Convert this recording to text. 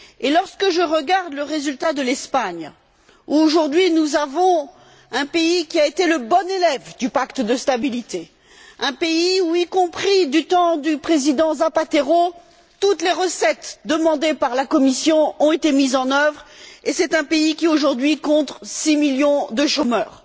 Lorsque je regarde le résultat de l'Espagne aujourd'hui, un pays qui a été le bon élève du Pacte de stabilité, un pays où, y compris du temps du président Zapatero, toutes les recettes demandées par la Commission ont été mises en œuvre ce pays compte aujourd'hui six millions de chômeurs.